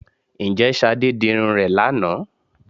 Ǹjẹ́ Ṣadé dirun rẹ̀ lánàá?